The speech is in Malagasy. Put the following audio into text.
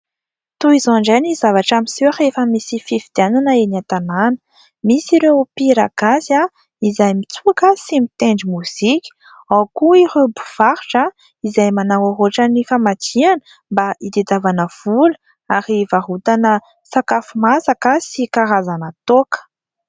Toy izao indray ny zavatra miseho rehefa misy fifidianana eny an-tanàna, misy ireo mpihira gasy izay mitsoka sy mitendry mozika, ao koa ireo mpivarotra izay manao ohatra ny famadihana mba itadiavana vola ary varotana sakafo masaka sy karazana toaka.